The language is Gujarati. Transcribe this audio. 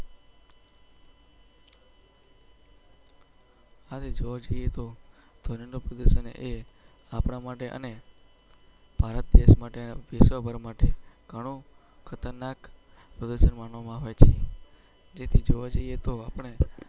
હવે જોઈએ તો પ્રદેશ અને એ આપડા માટે અને. ભારત માટે પેપર માટે ઘણું ખતરનાક માનવામાં આવે છે તેથી જોવા જઈએ તો આપણે.